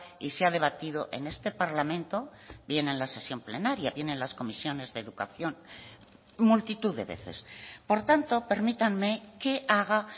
y se ha debatido en este parlamento bien en la sesión plenaria bien en las comisiones de educación multitud de veces por tanto permítanme que haga